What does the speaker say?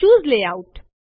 ચૂસે layout